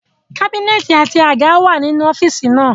Kábínẹ̀tì àti àga wà nínú ọ́fíìsì náà